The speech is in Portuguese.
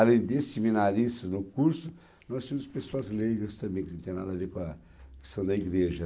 Além de seminaristas no curso, nós tínhamos pessoas leigas também, que não tem nada a ver com a questão da igreja.